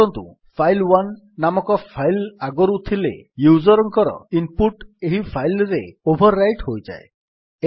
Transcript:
ମନେକରନ୍ତୁ ଫାଇଲ୍1 ନାମକ ଫାଇଲ୍ ଆଗରୁ ଥିଲେ ୟୁଜର୍ ଙ୍କର ଇନ୍ ପୁଟ୍ ଏହି ଫାଇଲ୍ ରେ ଓଭର୍ ରାଇଟ୍ ହୋଇଯାଏ